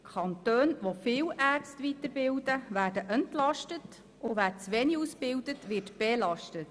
Kantone, die viele Ärzte weiterbilden, werden entlastet, und solche, die zu wenig ausbilden, werden belastet.